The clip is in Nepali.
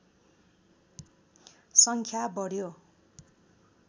सङ्ख्या बढ्यो